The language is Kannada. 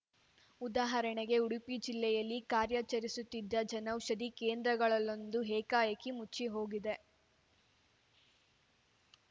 ಉದಾಹರಣೆಗೆ ಉಡುಪಿ ಜಿಲ್ಲೆಯಲ್ಲಿ ಕಾರ್ಯಾಚರಿಸುತ್ತಿದ್ದ ಜನೌಷಧಿ ಕೇಂದ್ರಗಳಲ್ಲೊಂದು ಏಕಾಏಕಿ ಮುಚ್ಚಿ ಹೋಗಿದೆ